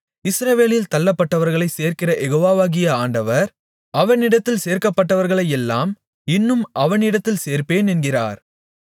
இஸ்ரவேலில் தள்ளப்பட்டவர்களைச் சேர்க்கிற யெகோவாவாகிய ஆண்டவர் அவனிடத்தில் சேர்க்கப்பட்டவர்களையல்லாமல் இன்னும் அவனிடத்தில் சேர்ப்பேன் என்கிறார்